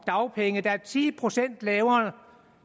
dagpenge der er ti procent lavere